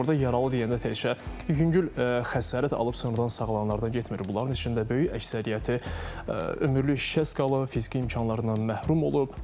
Burda yaralı deyəndə təkcə yüngül xəsarət alıb, sonra da sağalanlardan getmir, bunların içində böyük əksəriyyəti ömürlük şikəst qalıb, fiziki imkanlarından məhrum olub.